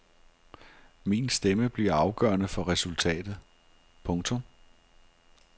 Min stemme bliver afgørende for resultatet. punktum